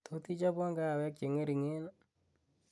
tot ichobwon kahawek cheng'ering ii